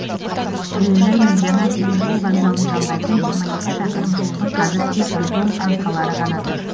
әуежай мен жаңа темір жол вокзалын жалғайтын жиырма екі шақырым жолдың қазір тек бетон қаңқалары ғана тұр